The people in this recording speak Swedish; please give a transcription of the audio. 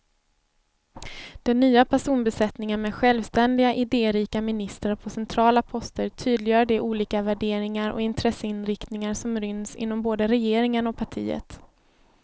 Den nya personbesättningen med självständiga, idérika ministrar på centrala poster tydliggör de olika värderingar och intresseinriktningar som ryms inom både regeringen och partiet.